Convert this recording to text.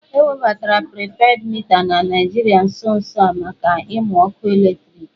E webatara pripedị mita na Naịjirịa nso nso a maka ịmụ ọkụ eletriki